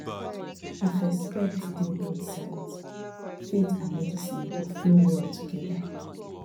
if respect dey both sides faith and medicine go flow well together